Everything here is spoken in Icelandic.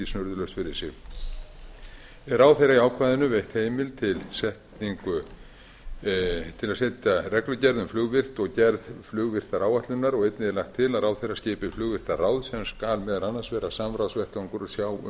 snurðulaust fyrir sig er ráðherra í ákvæðinu veitt heimild til að setja reglugerð um flugvirkt og gerð flugvirktaráætlunar og einnig er lagt til að ráðherra skipa flugvirktar sem skal vera annars vegar samráðsvettvangur og sjá um